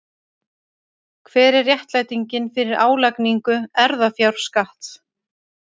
Hver er réttlætingin fyrir álagningu erfðafjárskatts?